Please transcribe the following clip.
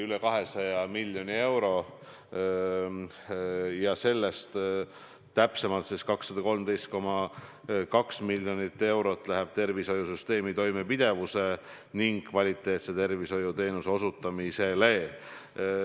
Üle 200 miljoni euro, täpsemalt 213,2 miljonit eurot läheb tervishoiusüsteemi toimepidevuse ning kvaliteetse tervishoiuteenuse osutamisele.